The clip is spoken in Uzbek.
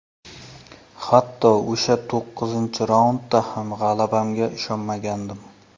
Hatto o‘sha to‘qqizinchi raundda ham g‘alabamga ishongandim.